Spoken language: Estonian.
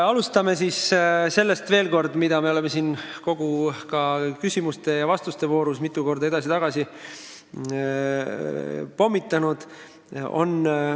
Alustan viidates veel kord teemale, mida me oleme siin kogu küsimuste ja vastuste voorus mitu korda edasi-tagasi veeretanud.